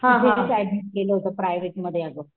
तिथेच ऍडमिट केलं होत प्रायव्हेट मध्ये अग,